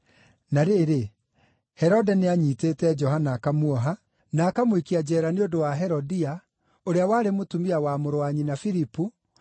Na rĩrĩ, Herode nĩanyiitĩte Johana akamuoha, na akamũikia njeera nĩ ũndũ wa Herodia, ũrĩa warĩ mũtumia wa mũrũ wa nyina Filipu,